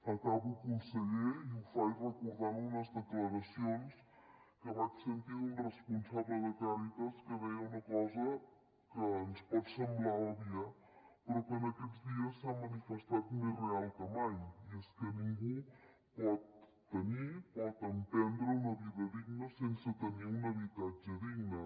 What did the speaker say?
acabo conseller i ho faig recordant unes declaracions que vaig sentir d’un responsable de càritas que deia una cosa que ens pot semblar òbvia però que en aquests dies s’ha manifestat més real que mai i és que ningú pot tenir pot emprendre una vida digna sense tenir un habitatge digne